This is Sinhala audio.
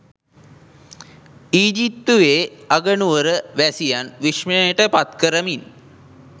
ඊජිප්තුවේ අගනුවර වැසියන් විශ්මයට පත් කරමින්